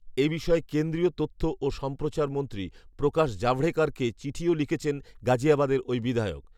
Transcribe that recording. এবিষয়ে কেন্দ্রীয় তথ্য ও সম্প্রচার মন্ত্রী প্রকাশ জাভড়েকরকে চিঠিও লিখেছেন গাজিয়াবাদের ওই বিধায়ক